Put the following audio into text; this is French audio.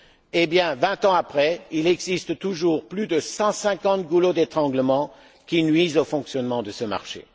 Eh bien, vingt ans après, il existe toujours plus de 150 goulots d'étranglement qui nuisent au fonctionnement de ce marché.